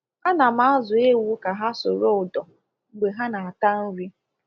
A na m azu ewu ka ha soro ụdọ mgbe ha na ata nri